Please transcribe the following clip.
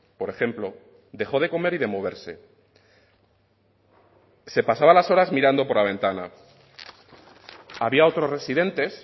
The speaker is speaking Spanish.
por ejemplo dejó de comer y de moverse se pasaba las horas mirando por la ventana había otros residentes